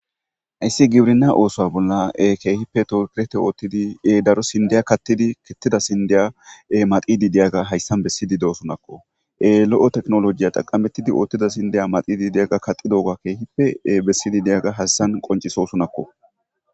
hayssi gibrina oosoa bolla keehippe tokirete oottidi e daro sindiya kattidi kettida sindeya7e madidi deyaga hayssan bessidi deosunakko e lo7o teknolojiya xaqamettidi oottida sindiya madidi deyaga kaxidooga keehippee bessidi deyaga hassan qoncisosunakko